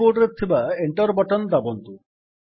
କୀ ବୋର୍ଡରେ ଥିବା Enter button ଦାବନ୍ତୁ